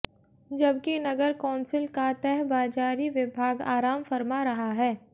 जबकि नगर कौंसिल का तहबाजारी विभाग आराम फरमा रहा है